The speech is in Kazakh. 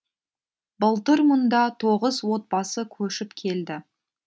былтыр мұнда тоғыз отбасы көшіп келді